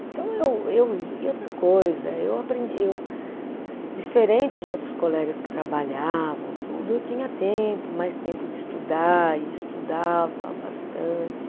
Então eu eu, e outra coisa, eu aprendi eu, diferente de outros colegas que trabalhavam, tudo, eu tinha tempo, mais tempo de estudar e estudava bastante.